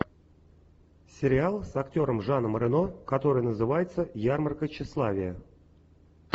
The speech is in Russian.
сериал с актером жаном рено который называется ярмарка тщеславия